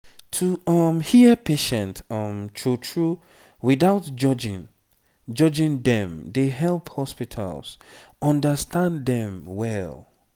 to um hear patient um true true without judging judging dem dey help hospitals understand dem well